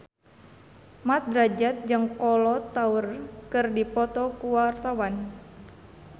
Mat Drajat jeung Kolo Taure keur dipoto ku wartawan